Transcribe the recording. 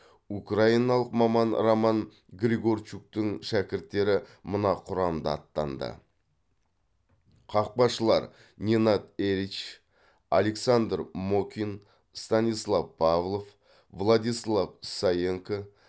украиналық маман роман григорчуктың шәкірттері мына құрамда аттанды қақпашылар ненад эрич александр мокин станислав павлов владислав саенко